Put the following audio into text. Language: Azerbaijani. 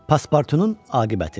Paspartunun aqibəti.